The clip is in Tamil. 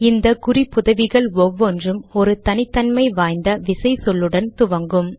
இந்த குறிப்புதவிகள் ஒவ்வொன்றும் ஒரு தனித்தன்மை வாய்ந்த விசை சொல்லுடன் துவங்கும்